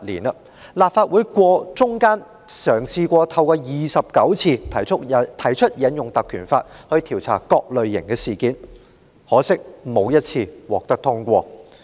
立法會期間曾29次嘗試引用《條例》調查各類事件，可惜相關議案沒有一次獲得通過。